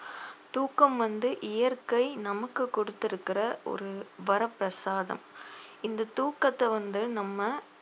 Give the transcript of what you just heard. தூக்கம் வந்து இயற்கை நமக்கு கொடுத்திருக்கிற ஒரு வரப்பிரசாதம் இந்த தூக்கத்தை வந்து நம்ம